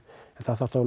en það þarf þá